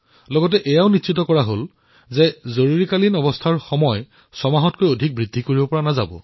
লগতে ইয়াকো সিদ্ধান্ত লোৱা হল যে জৰুৰীকালীন অৱস্থাৰ সময়সীমা ছমাহতকৈ অধিক বৃদ্ধি কৰিব নোৱাৰিব